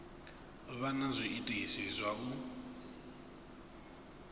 vha na zwiitisi zwa u